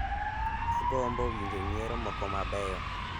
Agombo winjo nyiero moko mabeyo